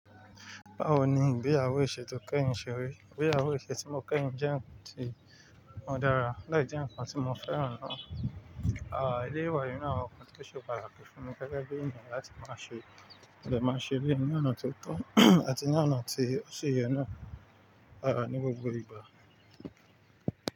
Báwo ni ìgbéyàwó ìṣètò kẹ́yìn ṣe rí? Ìgbéyàwó ìṣètò tí mo kẹ́yìn jẹ́ ǹnkan tí ó dára láì jẹ́ ǹnkan tí mo fẹ́ràn lọ́. Éléyì wà ninu àwon nkan tó ṣe pátákí fún mi gẹ́gẹ́ bí ènìyàn láti máa ṣe, mo dé máa ń ṣe éléyì ní ọ̀nà tó tọ́ àti ní ọ̀nà tí ó ṣe yẹ náà ní gbogbo ìgbà.